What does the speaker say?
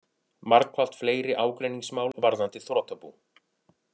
Margfalt fleiri ágreiningsmál varðandi þrotabú